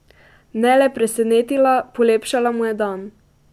Ne le presenetila, polepšala mu je dan.